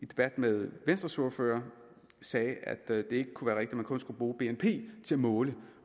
debat med venstres ordfører sagde at det ikke kunne at man kun skulle bruge bnp til at måle